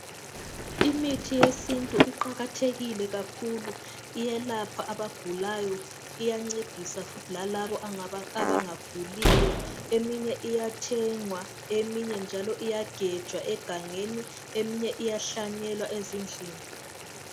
Imithi yesintu iqakathekile kakhulu iyelapha abagulayo. Iyancedisa futhi lalaba abangaguliyo. Eminye iyathengwa, eminye njalo iyagejwa egangeni , eminye iyahlanyelwa ezindlini.